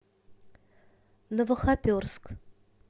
новохоперск